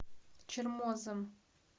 чермозом